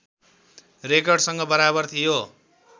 रेकर्डसँग बराबर थियो